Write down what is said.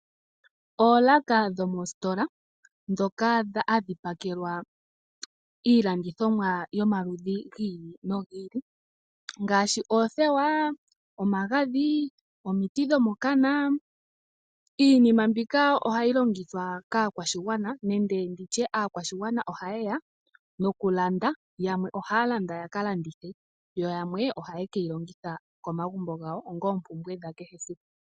Oolaka dhomositola dhoka hadhi pakelwa iilandithomwa yomaludhi gi ili nogi ili, ngaashi oothewa, omagadhi nomiti dhomokana. Iinima mbika ohayi longithwa kaakwashigwana nenge nditye aakwashigwana ohaye ya nokulanda, yamwe ohaya landa ya ka landithe. Yo yamwe ohake yi longitha komagumbo gawo onga oompumbwe dha kehe esiku.